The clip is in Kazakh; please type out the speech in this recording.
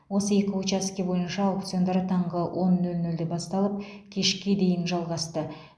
осы екі учаске бойынша аукциондар таңғы он нөл нөлде басталып кешке дейін жалғасты